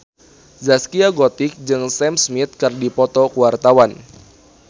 Zaskia Gotik jeung Sam Smith keur dipoto ku wartawan